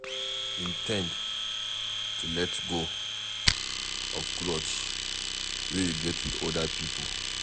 In ten d to let go of grudge wey you get with oda pipo